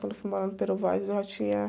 Quando eu fui morar no, eu já tinha